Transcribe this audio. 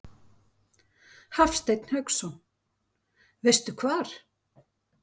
Hafsteinn Hauksson: Veistu hvar?